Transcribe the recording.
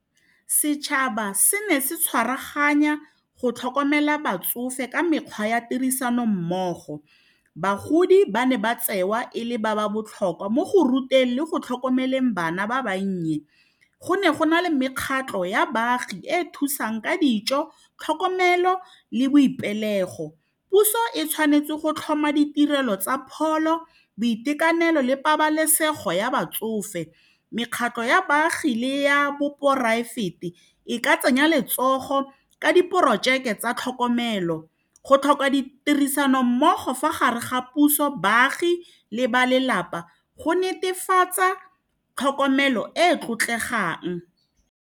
Setšhaba se ne se tshwaraganya go tlhokomela batsofe ka mekgwa ya tirisano mmogo bagodi ba ne ba tsewa e le ba ba botlhokwa mo go ruteng le go tlhokomeleng bana ba bannye go ne go na le mekgatlo ya baagi e e thusang ka dijo tlhokomelo le boipelego, puso e tshwanetse go tlhoma ditirelo tsa pholo boitekanelo le pabalesego ya batsofe mekgatlo ya baagi le ya bo poraefete e ka tsenya letsogo ka diporojeke tsa tlhokomelo go tlhoka ditirisanommogo fa gare ga puso, baagi le ba lelapa go netefatsa tlhokomelo e e tlotlegang.